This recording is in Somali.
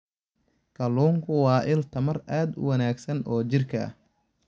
Kalluunku waa il tamar aad u wanaagsan oo jidhka ah.